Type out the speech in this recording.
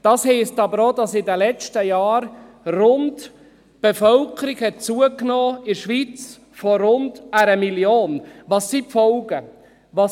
Das heisst aber auch, dass in den letzten Jahren die Bevölkerung in der Schweiz um rund 1 Million zugenommen hat.